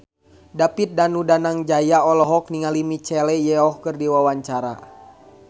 David Danu Danangjaya olohok ningali Michelle Yeoh keur diwawancara